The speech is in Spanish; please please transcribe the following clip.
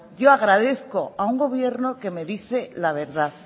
yo agradezco a un gobierno que me dice la verdad